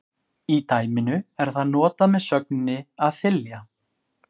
Í dæminu er það notað með sögninni að þylja.